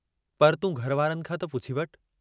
पर तूं घर वारनि खां त पुछी वठु।